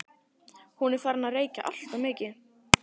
Hún er farin að reykja alltof mikið.